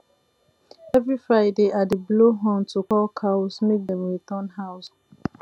every friday i dey blow horn to call cows make dem return house